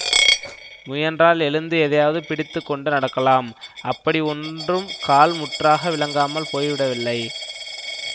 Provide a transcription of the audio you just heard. முயன்றால் எழுந்து எதையாவது பிடித்து கொண்டு நடக்கலாம் அப்படி ஒன்றும் கால் முற்றாக விளங்காமல் போய் விடவில்லை